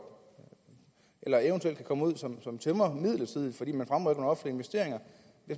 eller eventuelt kan komme ud som tømrer midlertidigt fordi og